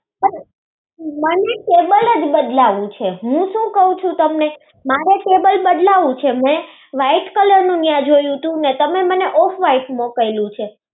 મને table જ બદલાવું છે હું કઈ કહું તમને મારે table બદલાવું છે મેં white color નું ન્યાં જોયું હતું. તમે મને off color મોકલું છે.